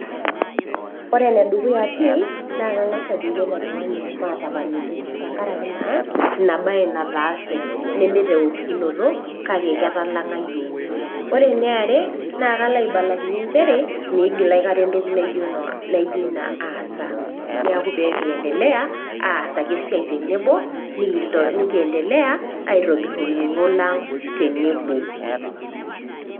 Ore ene dukuya pii naa kang'ass ajoki ele tung'ani matapaliki tenkaraki naa Ina bae nataasie, naa tenkaraki naa nee teng'olokinoto kake ketalang'a iyiok. Ore ene are naa kao aibalakinye nchere meigil aikata toki naijo Ina aas, neaku pee kiendelea aas ake esiai tenebo nekiendelea aibung' olning'o lang' tenebo.